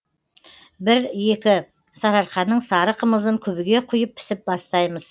бір екі сарыарқаның сары қымызын күбіге құйып пісіп бастаймыз